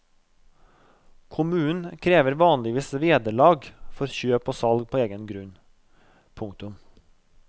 Kommunen krever vanligvis vederlag for kjøp og salg på egen grunn. punktum